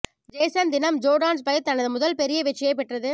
Jason தினம் Jordan Spieth தனது முதல் பெரிய வெற்றியைப் பெற்றது